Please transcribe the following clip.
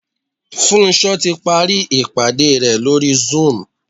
Funsho ti parí ìpàdé re lórí zoom.